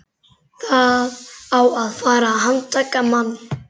Það á að fara að handtaka mann.